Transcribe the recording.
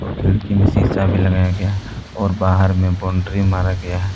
खिड़की में सीसा भी लगाया गया है और बाहर में बाउंड्री मारा गया है।